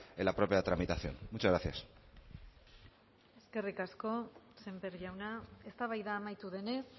en la propia tramitación muchas gracias eskerrik asko sémper jauna eztabaida amaitu denez